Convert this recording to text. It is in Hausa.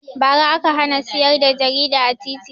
Ba ra aka hana siyar da jarida a titi